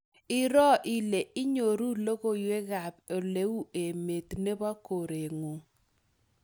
Iroo ile inyoru logoiywekab oleu emet nebo koreng'ung